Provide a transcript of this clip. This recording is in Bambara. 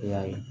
I y'a ye